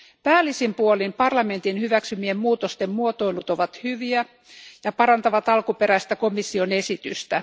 Päällisin puolin parlamentin hyväksymien muutosten muotoilut ovat hyviä ja parantavat alkuperäistä komission esitystä.